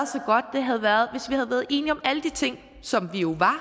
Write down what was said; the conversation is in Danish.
havde været enige om alle de ting som vi jo var